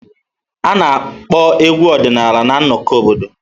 A na-akpọ egwu ọdịnala na nnọkọ obodo.